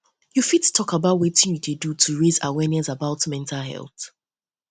you fit talk about wetin you dey wetin you dey do to raise awareness about mental health